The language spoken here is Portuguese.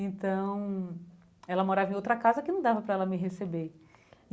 Então, ela morava em outra casa que não dava para ela me receber.